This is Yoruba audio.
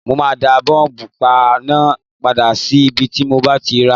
Mo máa dá bọ́múpà náà padà sí ibi tí mo ti ràá